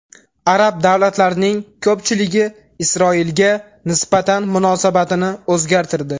Arab davlatlarining ko‘pchiligi Isroilga nisbatan munosabatini o‘zgartirdi.